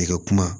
I ka kuma